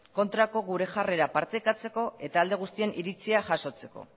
kontrako gure jarrera partekatzeko eta alde guztien iritzia jasotzeko